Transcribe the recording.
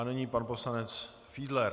A nyní pan poslanec Fiedler.